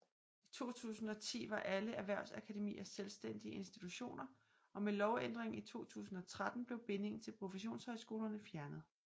I 2010 var alle erhvervsakademier selvstændige institutioner og med lovændringen i 2013 blev bindingen til professionshøjskolerne fjernet